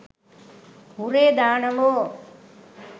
hurray දානවෝ